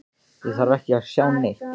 Ég þarf ekki að sjá neitt.